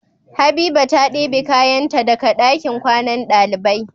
Habiba ta debe kayan ta daka dakin kwannan ɗalibai